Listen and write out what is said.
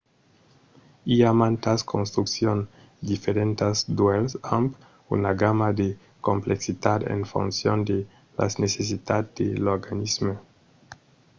i a mantas construccions diferentas d'uèlhs amb una gamma de complexitat en foncion de las necessitats de l'organisme